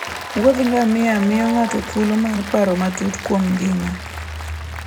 Wuoth ngamia miyo ng'ato thuolo mar paro matut kuom ngima.